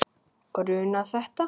Grunað þetta?